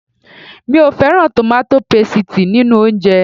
Mi ò fẹ́ràn tòmátò pasìtì nínú oúnjẹ